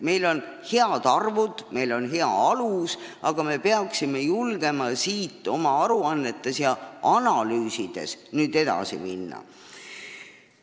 Meil on head arvud, meil on hea alus, aga me peaksime julgema sellest oma aruannetes ja analüüsides edasi minna.